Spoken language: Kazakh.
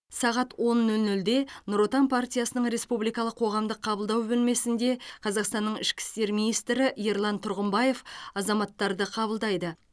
сағат он нөл нөлде нұр отан партиясының республикалық қоғамдық қабылдау бөлмесінде қазақстанның ішкі істер министрі ерлан тұрғымбаев азаматтарды қабылдайды